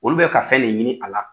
Olu bɛ ka fɛn le ɲini a la.